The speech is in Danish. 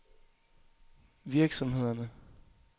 virksomhederne